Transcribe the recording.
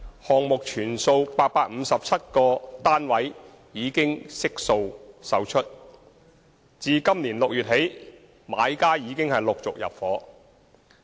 項目全數857個單位已悉數售出，自今年6月起，買家已陸續入伙。